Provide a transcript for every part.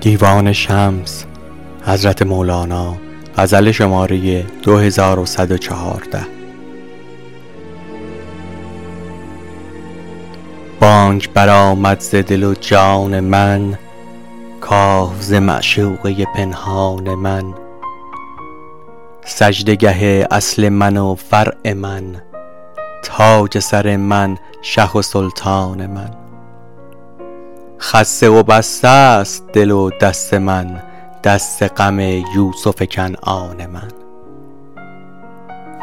بانگ برآمد ز دل و جان من که ز معشوقه پنهان من سجده گه اصل من و فرع من تاج سر من شه و سلطان من خسته و بسته ست دل و دست من دست غم یوسف کنعان من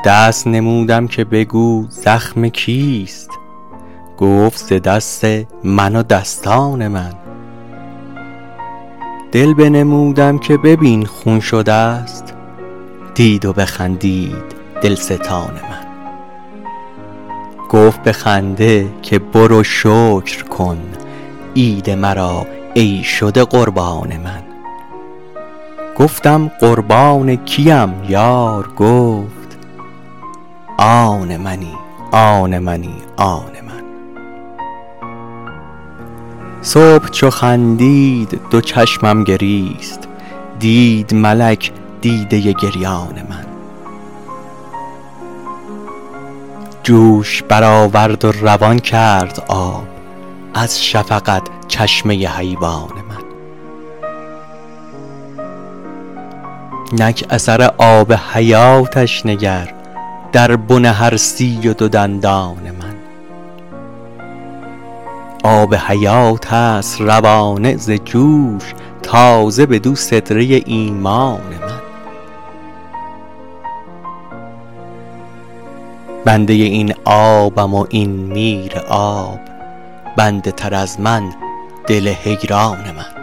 دست نمودم که بگو زخم کیست گفت ز دست من و دستان من دل بنمودم که ببین خون شده ست دید و بخندید دلستان من گفت به خنده که برو شکر کن عید مرا ای شده قربان من گفتم قربان کیم یار گفت آن منی آن منی آن من صبح چو خندید دو چشمم گریست دید ملک دیده گریان من جوش برآورد و روان کرد آب از شفقت چشمه حیوان من نک اثر آب حیاتش نگر در بن هر سی و دو دندان من آب حیات است روانه ز جوش تازه بدو سدره ایمان من بنده این آبم و این میراب بنده تر از من دل حیران من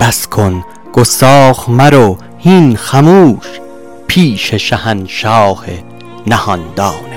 بس کن گستاخ مرو هین خموش پیش شهنشاه نهان دان من